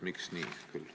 Miks küll nii?